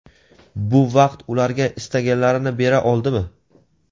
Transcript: bu vaqt ularga istaganlarini bera oldimi?.